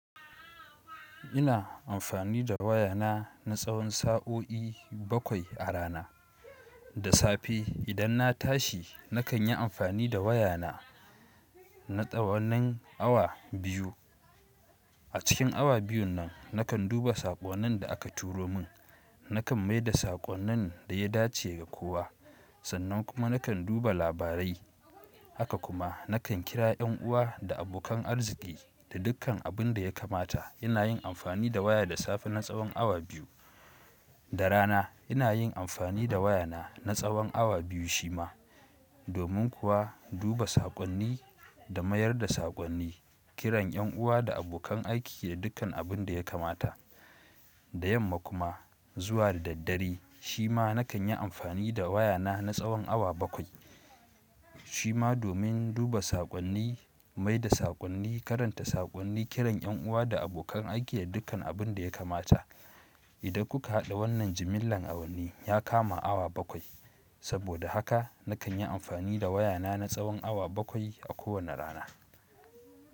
Ina amfani da wayana na tsawon sa'o'i bakwai a rana. Da safe idan na tashi nakan yi amfani da wayana na tsawon awa biyu. A cikin awa biyun nan nakan duba saƙonnin da aka turo min, nakan mai da saƙonnin da ya dace ga kowa, sannan kuma nakan duba labarai. Haka kuma nakan kira yan uwa da abokan arziki da dukkan abin da ya kamata. Ina yin amfani da waya da safe na tsawon awa biyu. Da rana ina yin amfani da wayana na tsawon awa biyu shi ma, domin kuwa duba saƙonni da mayar da saƙonni, kiran yan uwa da abokan aiki da dukkan abin da ya kamata. Da yamma kuma zuwa da daddare shi ma nakan yi amfani da wayana na tsawon awa bakwai. Shi ma domin duba saƙonni, mai da saƙonni, karanta saƙonni, kiran yan uwa da abokan aiki da dukkan abin da ya kamata. Idan kuka haɗa wannan jimillar awanni ya kama awa bakwai. Saboda haka nakan yi amfani da wayana na tsawon awa bakwai a kowane rana.